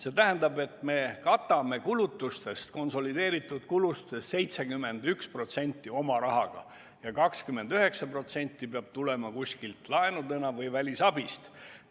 See tähendab, et me katame konsolideeritud kulutustest 71% oma rahaga ja 29% peab tulema laenudena või välisabist.